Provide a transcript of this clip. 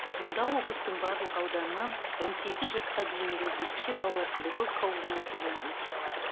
мұнда облыстың барлық ауданынан он сегіз жасқа дейінгі ерекше балалар педагогикалық оңалтудан өте алады